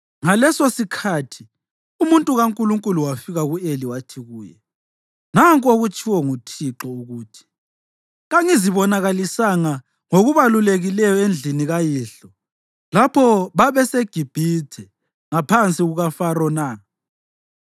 Ngalesosikhathi umuntu kaNkulunkulu wafika ku-Eli wathi kuye, “Nanku okutshiwo nguThixo ukuthi: ‘Kangizibonakalisanga ngokubalulekileyo endlini kayihlo lapho babeseGibhithe ngaphansi kukaFaro na?